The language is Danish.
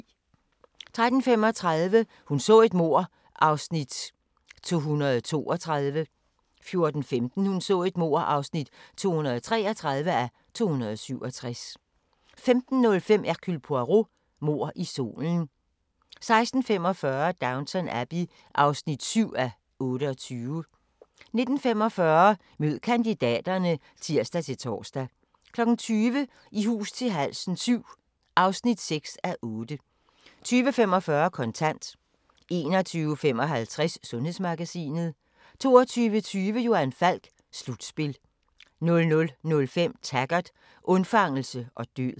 13:35: Hun så et mord (232:267) 14:15: Hun så et mord (233:267) 15:05: Hercule Poirot: Mord i solen 16:45: Downton Abbey (7:28) 19:45: Mød kandidaterne (tir-tor) 20:00: I hus til halsen VII (6:8) 20:45: Kontant 21:55: Sundhedsmagasinet 22:20: Johan Falk: Slutspil 00:05: Taggart: Undfangelse og død